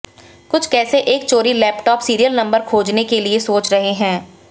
कुछ कैसे एक चोरी लैपटॉप सीरियल नंबर खोजने के लिए सोच रहे हैं